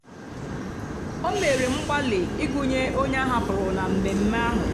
o mèrè mgbalị́ ịgụ́nyè ònyè áhàpụrụ́ na mmèmme ahụ́.